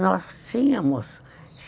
Nós tínhamos.